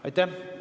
Aitäh!